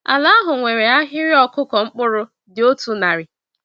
Ala ahụ nwere ahịrị ọkụkụ mkpụrụ dị otu narị.